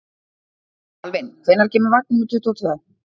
Alvin, hvenær kemur vagn númer tuttugu og tvö?